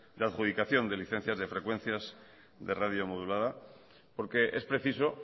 de adjudicación de licencias de frecuencias de radio modulada porque es preciso